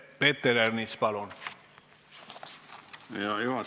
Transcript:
Peeter Ernits, küsimus palun!